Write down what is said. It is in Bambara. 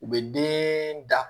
U bɛ den da